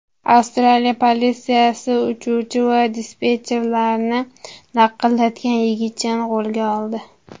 Avstraliya politsiyasi uchuvchi va dispetcherlarni laqillatgan yigitchani qo‘lga oldi.